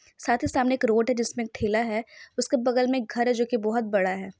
साथ ही सामने एक रोड है जिसमें एक ठेला है उसके बगल मे एक घर है जो की बहुत बड़ा है।